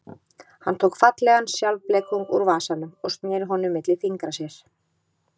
Hann tók fallegan sjálfblekung úr vasanum og sneri honum milli fingra sér.